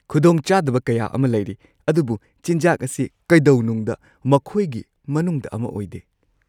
ꯈꯨꯗꯣꯡꯆꯥꯗꯕ ꯀꯌꯥ ꯑꯃ ꯂꯩꯔꯤ ꯑꯗꯨꯕꯨ ꯆꯤꯟꯖꯥꯛ ꯑꯁꯤ ꯀꯩꯗꯧꯅꯨꯡꯗ ꯃꯈꯣꯏꯒꯤ ꯃꯅꯨꯡꯗ ꯑꯃ ꯑꯣꯏꯗꯦ!